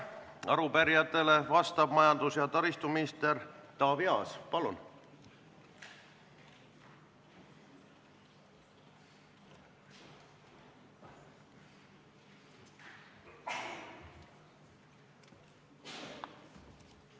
Arupärijatele vastab majandus- ja taristuminister Taavi Aas, palun!